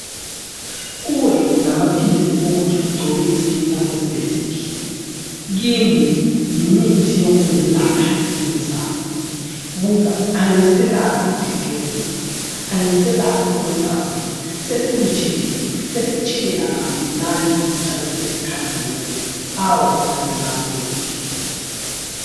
Kuwe ngamaphilisi okuthi ugcobe iskin sakho sibe sihle. kimi yimithi yokungelapha iskin sami. Buka angiselakho ukukleklebuka, angiselakho ukudabuka sesibutshelezi sesitshelela kamnandi njalo sesikhazimula. Awu ngaze ngamuhle!